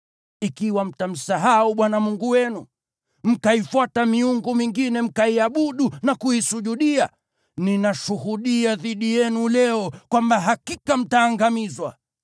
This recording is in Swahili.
Ikiwa mtamsahau Bwana Mungu wenu, mkaifuata miungu mingine, mkaiabudu na kuisujudia, ninashuhudia dhidi yenu leo kwamba hakika mtaangamizwa.